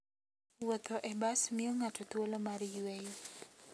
Wuotho e bas miyo ng'ato thuolo mar yueyo.